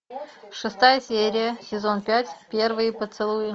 шестая серия сезон пять первые поцелуи